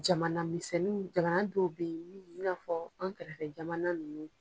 Jamana misɛnnin mun, jamana dɔw bɛ ye mun, i n'a fɔ an kɛrɛfɛ jamana nunnu.